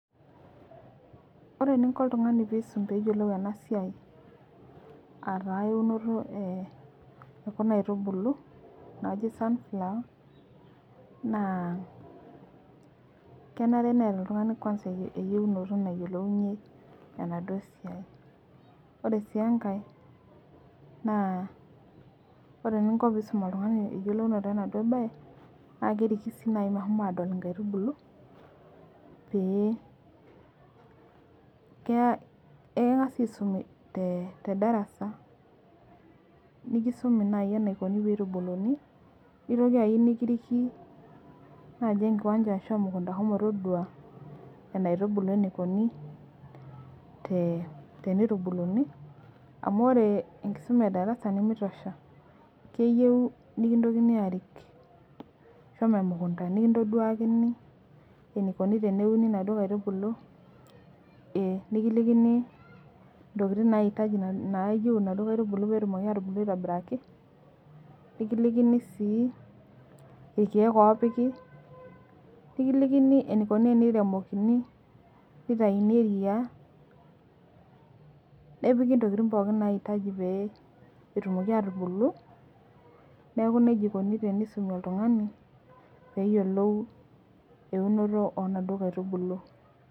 Ore eninko oltungani peisum peyiolou enasiai ataa eunoto ekuna aitubulu najibm sunflower na kenare neeta oltungani eyiolounoto nayiolounye enaduo sidai ore sj enkae na ore pinkoembae na keliki nai meshomoita adol inkaitubulu pee ekingasa aisum tedarasa nikisumi nai enikuni peitubuluni nikiriki naji enkiwanja ashu emukunda shomo todua enaitubulu enikuni tenitubulunibamubore enkisuma edarasa nimitosha keyieu mikintokini arik shomo emukunda nikintaduakini enikuni peuni naduo aitubulu nikilikini ntokitin naitaji enaduo aitubului petumoki atubulu aitobiraki nikilikini si irkiek opiki nikilikini eniikuni peremokini neoiki ntokitin inaitaji petumoki atubulu neaku nejia ikuni peisumi oltungani peyiolou eumoto onaduo aitubulu.